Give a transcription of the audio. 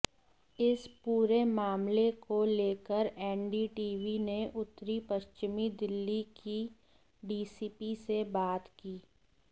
इस पूरे मामले को लेकर एनडीटीवी ने उत्तरी पश्चिमी दिल्ली की डीसीपी से बात की